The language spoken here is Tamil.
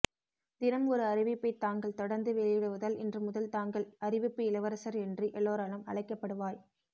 தினம் ஒரு அறிவிப்பை தாங்கள் தொடர்ந்து வெளியிடுவதால் இன்று முதல் தாங்கள் அறிவிப்பு இளவரசர் என்று எல்லோராலும் அழைக்கப்படுவாய்